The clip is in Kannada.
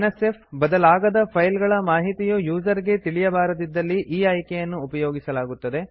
f ಬದಲಾಗದ ಫೈಲ್ ಗಳ ಮಾಹಿತಿಯು ಯೂಸರ್ ಗೆ ತಿಳಿಯಬಾರದಿದ್ದಲ್ಲಿ ಈ ಆಯ್ಕೆಯನ್ನು ಉಪಯೋಗಿಸಲಾಗುತ್ತದೆ